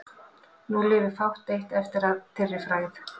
Nú lifir fátt eitt eftir að þeirri frægð.